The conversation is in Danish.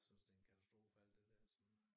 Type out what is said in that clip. Synes det en katastrofe alt det dér så